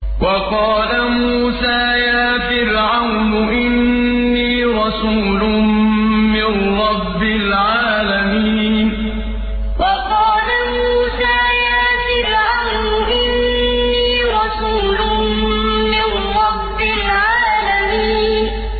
وَقَالَ مُوسَىٰ يَا فِرْعَوْنُ إِنِّي رَسُولٌ مِّن رَّبِّ الْعَالَمِينَ وَقَالَ مُوسَىٰ يَا فِرْعَوْنُ إِنِّي رَسُولٌ مِّن رَّبِّ الْعَالَمِينَ